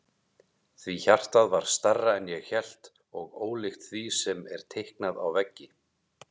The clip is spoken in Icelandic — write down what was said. Því hjartað var stærra en ég hélt og ólíkt því sem er teiknað á veggi.